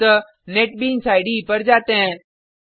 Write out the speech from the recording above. अतः NetBeans IDE पर जाते हैं